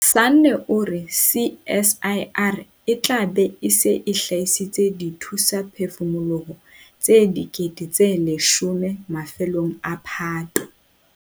Sanne o re CSIR e tla be e se e hlahisitse dithusaphefumoloho tse 10 000 mafelong a Phato.